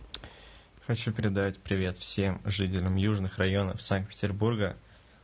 хочу передать привет всем жителям южных районов санкт-петербурга